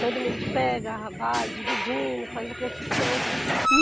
Todo mundo pega, vai dividindo, faz a construção.